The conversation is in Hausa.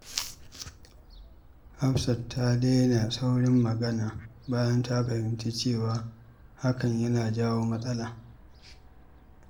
Hafsat ta daina saurin magana bayan ta fahimci cewa hakan yana jawo matsala.